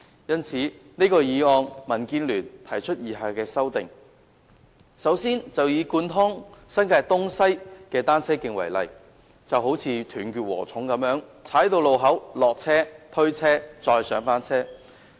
因此，就這項議案，民建聯提出以下的修訂：首先，以貫通新界東西的單車徑為例，單車徑像"斷截禾蟲"一樣，每到達路口便要下車、推車、再上車。